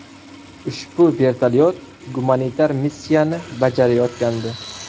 Ushbu vertolyot gumanitar missiyani bajarayotgandi.